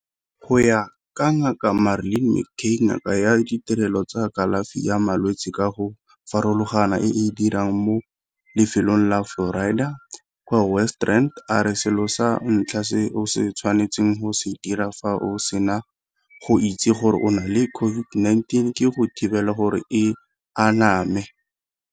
Go ya ka Ngaka Marlin McCay, ngaka ya ditirelo tsa kalafi ya malwetse ka go farologana e e dirang mo lefelong la Florida kwa West Rand, a re selo sa ntlha se o tshwanetseng go se dira fa o sena go itse gore o na le COVID-19 ke go thibela gore e aname.